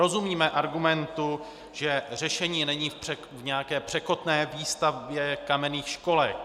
Rozumíme argumentu, že řešení není v nějaké překotné výstavbě kamenných školek.